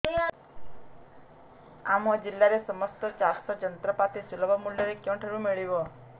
ଆମ ଜିଲ୍ଲାରେ ସମସ୍ତ ଚାଷ ଯନ୍ତ୍ରପାତି ସୁଲଭ ମୁଲ୍ଯରେ କେଉଁଠାରୁ ମିଳିବ